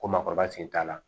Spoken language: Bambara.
Ko maakɔrɔba sen t'a la